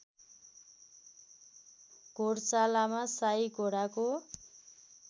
घोडशालामा शाही घोडाको